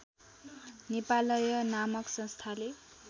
नेपालय नामक संस्थाले